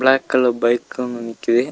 Black colour bike ஒன்னு நிக்கிது.